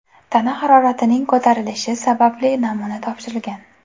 tana haroratining ko‘tarilishi sababli namuna topshirgan.